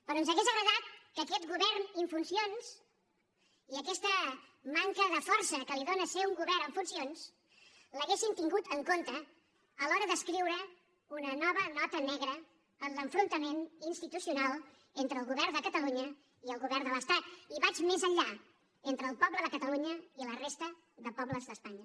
però ens hauria agradat que aquest govern en funcions i aquesta manca de força que li dóna ser un govern en funcions l’haguessin tingut en compte a l’hora d’escriure una nova nota negra en l’enfrontament institucional entre el govern de catalunya i el govern de l’estat i vaig més enllà entre el poble de catalunya i la resta de pobles d’espanya